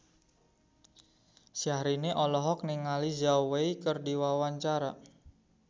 Syahrini olohok ningali Zhao Wei keur diwawancara